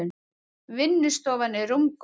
Vinnustofan er rúmgóð.